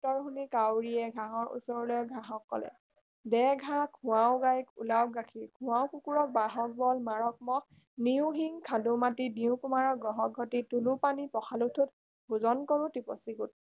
উত্তৰ শুনি কাউৰীয়ে ঘাঁহৰ ওচৰলৈ গৈ ঘাঁহক কলে দে ঘাঁহ খুৱাও গাইক ওলাওক গাখীৰ খুৱাও কুকুৰক বান্ধক বল মাৰক মহ নিও শিং খান্দো মাটি দিও কুমাৰক ঘঢ়ক ঘটী তোলো পানী পখালো ঠোট ভোজন কৰো টিপচী গোট